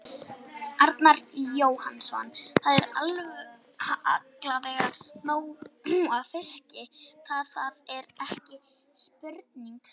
Arnar Jóhannsson: Það er allavega nóg af fiski, það, það er ekki spurning sko?